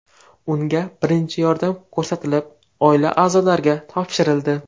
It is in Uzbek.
Unga birinchi yordam ko‘rsatilib, oila a’zolariga topshirildi.